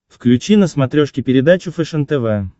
включи на смотрешке передачу фэшен тв